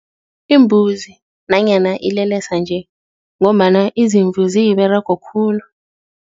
Imbuzi nanyana ilelesa-nje ngombana izimvu ziyiberego khulu.